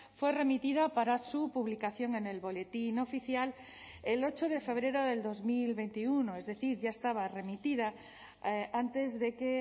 fue remitida para su publicación en el boletín oficial el ocho de febrero del dos mil veintiuno es decir ya estaba remitida antes de que